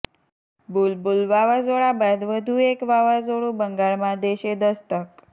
બુલબુલ વાવાઝોડા બાદ વધુ એક વાવાઝોડું બંગાળમાં દેશે દસ્તક